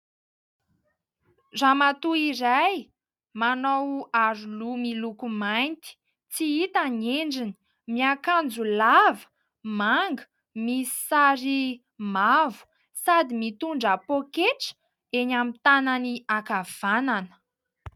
Ramatoa iray manao aroloha miloko mainty. Tsy hita ny endriny. Miakanjo lava, manga, misy sary mavo sady mitondra pôketra eny amin'ny tanany ankavanana.